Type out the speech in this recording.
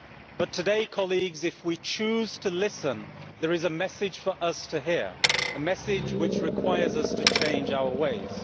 But today, colleagues, if we choose to listen there is a message for us to hear, a message which requires us to change our ways.